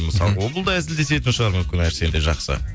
мысалы ол да әзілдесетін шығар мүмкін әрсен де жақсы